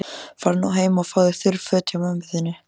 Farðu nú heim og fáðu þurr föt hjá mömmu þinni.